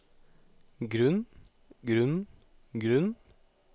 grunn grunn grunn